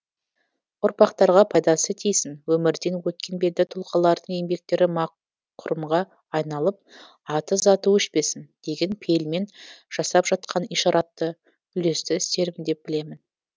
ұрпақтарға пайдасы тисін өмірден өткен белді тұлғалардың еңбектері ма құрымға айналып аты заты өшпесін деген пейілмен жасап жатқан ишаратты үлесті істерім деп білемін